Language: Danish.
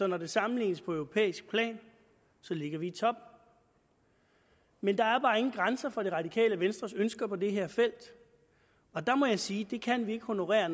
når det sammenlignes på europæisk plan ligger i top men der er bare ingen grænser for det radikale venstres ønsker på det her felt og der må jeg sige at vi kan ikke honorere